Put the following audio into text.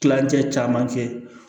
Kilancɛ caman kɛ